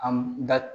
An da